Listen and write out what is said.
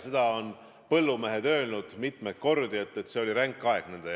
Seda on põllumehed mitmeid kordi öelnud, et see oli nende jaoks ränk aeg.